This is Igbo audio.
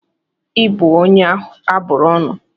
Ị bụ onye a bụrụ ọnụ!